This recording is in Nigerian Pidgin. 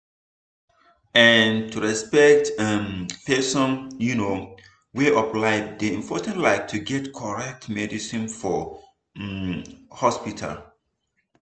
ehnn to respect um person um way of life dey important like to get correct medicine for um hospital